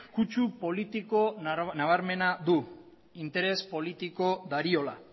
kutxu politiko nabarmena du interes politiko dariola